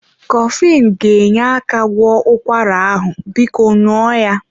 Coflin ga-enye aka gwọọ ụkwara ahụ, biko ṅụọ ya.